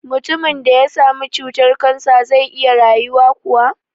Mutumin da ya sami cutar-kansa zai iya rayuwa kuwa?